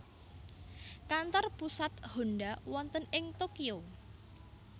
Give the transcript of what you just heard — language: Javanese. Kantor pusat Honda wonten ing Tokyo